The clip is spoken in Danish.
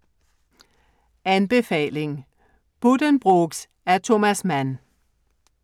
Anbefaling: Buddenbrooks af Thomas Mann